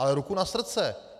Ale ruku na srdce.